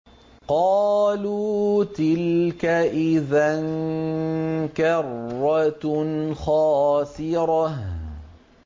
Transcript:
قَالُوا تِلْكَ إِذًا كَرَّةٌ خَاسِرَةٌ